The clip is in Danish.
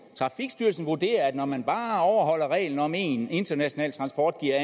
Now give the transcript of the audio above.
trafikstyrelsen vurderer at når man bare overholder reglen om at en international transport giver